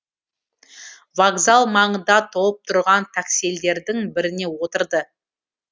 вокзал маңында толып тұрған таксилердің біріне отырды